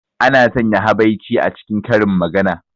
Ana sanya habaici a cikin karin magana.